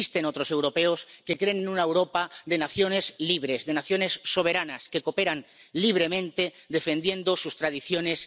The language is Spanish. Existen otros europeos que quieren una Europa de naciones libres, de naciones soberanas, que cooperan libremente defendiendo sus tradiciones.